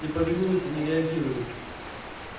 не повинуются не реагируют